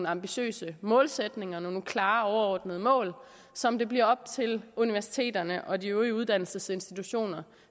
ambitiøse målsætninger og nogle klare overordnede mål som det bliver op til universiteterne og de øvrige uddannelsesinstitutioner